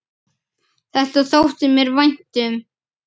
Þetta þótti mér vænt um.